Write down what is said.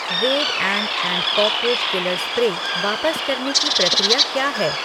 Red ant and cockroach killer spray वापस करने की प्रक्रिया क्या है?